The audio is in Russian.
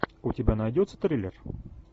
у тебя найдется триллер